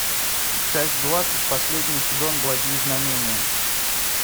часть двадцать последний сезон благие знамения